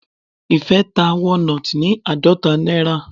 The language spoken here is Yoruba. Ìfẹ́ ta walnut ní àádọta náírà.